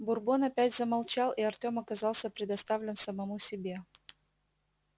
бурбон опять замолчал и артём оказался предоставлен самому себе